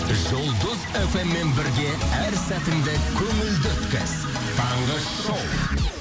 жұлдыз фм мен бірге әр сәтіңді көңілді өткіз таңғы шоу